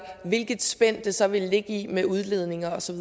hvilket spænd det så vil ligge i med udledninger og så